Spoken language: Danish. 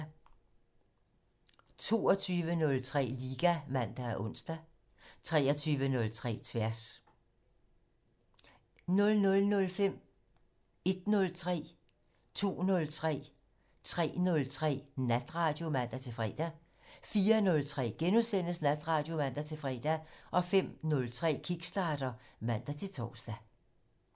22:03: Liga (man og ons) 23:03: Tværs 00:05: Natradio (man-fre) 01:03: Natradio (man-fre) 02:03: Natradio (man-fre) 03:03: Natradio (man-fre) 04:03: Natradio *(man-fre) 05:03: Kickstarter (man-tor)